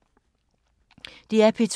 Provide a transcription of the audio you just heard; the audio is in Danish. DR P2